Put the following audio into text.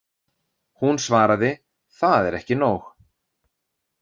Hún svaraði: Það er ekki nóg.